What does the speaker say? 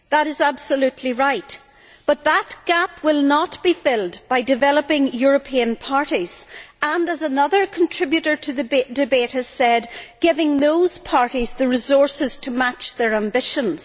That is absolutely right, but that gap will not be filled by developing European parties and, as another contributor to the debate has said, giving those parties the resources to match their ambitions.